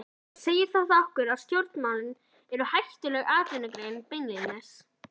Heimir: Segir þetta okkur að stjórnmálin eru hættuleg atvinnugrein beinlínis?